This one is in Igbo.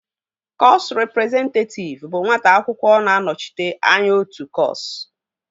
Kọsu rịprezentatịv bụ nwata akwụkwọ na-anọchite anya otu kọsu